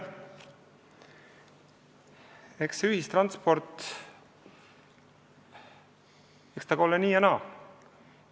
Eks ühistranspordiga ole nii ja naa.